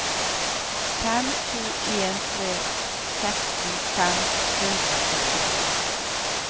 fem to en tre seksten fem hundre og sytti